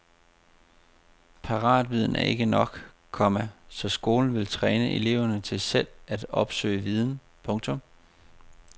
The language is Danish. Paratviden er ikke nok, komma så skolen vil træne eleverne til selv at opsøge viden. punktum